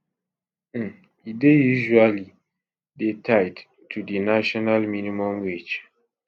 um e dey usually dey tied to di national minimum wage